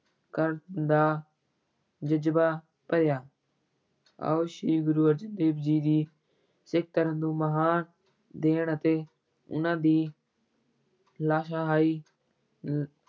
ਕਰਨ ਦਾ ਜਜ਼ਬਾ ਭਰਿਆ ਆਓ ਸ੍ਰੀ ਗੁਰੂ ਅਰਜਨ ਦੇਵ ਜੀ ਦੀ ਸਿੱਖ ਧਰਮ ਨੂੰ ਮਹਾਨ ਦੇਣ ਅਤੇ ਉਹਨਾਂ ਦੀ ਲਾਸ਼ਾਹੀ ਲ